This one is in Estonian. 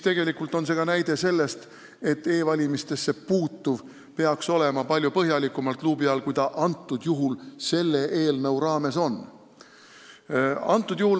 Tegelikult on see ka näide sellest, et e-valimisesse puutuv peaks olema palju põhjalikumalt luubi all, kui selle eelnõu raames on.